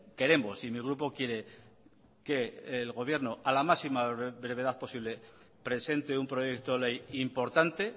queremos y mi grupo quiere que el gobierno a la máxima brevedad posible presente un proyecto ley importante